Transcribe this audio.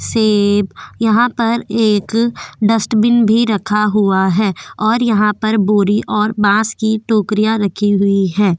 सेब यहा पर एक डस्टबिन भी रखा हुआ है और यहा पे बोरी और बाँस की टोकरीया रखी हुई है।